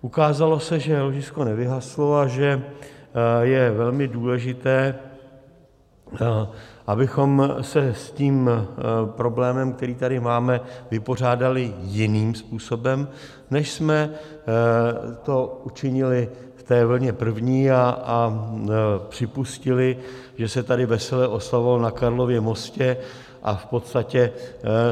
Ukázalo se, že ložisko nevyhaslo a že je velmi důležité, abychom se s tím problémem, který tady máme, vypořádali jiným způsobem, než jsme to učinili v té vlně první a připustili, že se tady vesele oslavovalo na Karlově mostě, a v podstatě